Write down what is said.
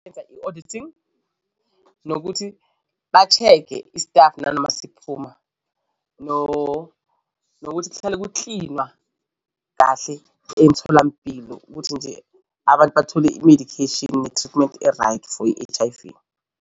Benza i-auditing nokuthi ba-check-e istafu nanoma siphuma nokuthi kuhlelwe kuklinwa kahle emtholampilo ukuthi nje abantu bathole i-medication ne-treatment e-right for i-H_I_V.